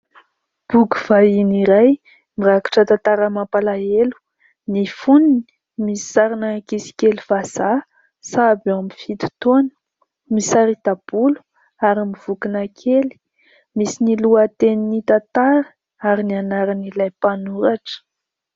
Boky vahiny iray mirakitra tantara mampalahelo, ny foniny misy sarina ankizy kely vazaha, sahabo ao amin'ny fito taona, misarita-bolo ary mivokona kely misy ny lohatenin'ny tantara ary ny anaran' ilay mpanoratra.